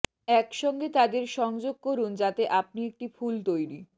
একসঙ্গে তাদের সংযোগ করুন যাতে আপনি একটি ফুল তৈরি